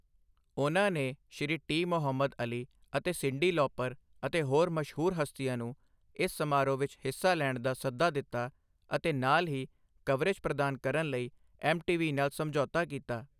ਉਨ੍ਹਾਂ ਨੇ Shri T. Muhammad Ali ਅਤੇ ਸਿੰਡੀ ਲੌਪਰ ਅਤੇ ਹੋਰ ਮਸ਼ਹੂਰ ਹਸਤੀਆਂ ਨੂੰ ਇਸ ਸਮਾਰੋਹ ਵਿੱਚ ਹਿੱਸਾ ਲੈਣ ਦਾ ਸੱਦਾ ਦਿੱਤਾ ਅਤੇ ਨਾਲ ਹੀ ਕਵਰੇਜ ਪ੍ਰਦਾਨ ਕਰਨ ਲਈ ਐੱਮ.ਟੀ.ਵੀ ਨਾਲ ਸਮਝੌਤਾ ਕੀਤਾ।